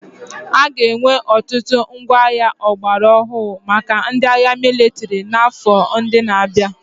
A ga-enwe ọtụtụ ngwa agha ọgbara ọhụrụ maka ndị agha mịlịtrị n'afọ ndị na-abịa.